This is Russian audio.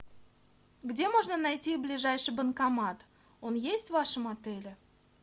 где можно найти ближайший банкомат он есть в вашем отеле